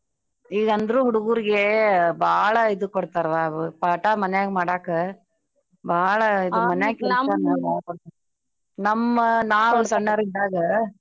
ಈಗ್ ಅಂದ್ರೂ ಹುಡ್ಗೂರ್ಗೇ ಬಾಳ ಇದು ಕೊಡ್ತರ್ವಾ ಅವ್ ಪಾಟ ಮಾನ್ಯಗ ಮಾಡಕ ಬಾಳ ನಮ್ಮ ನಾವು ಸಣ್ಣೋರಿದ್ದಾಗ.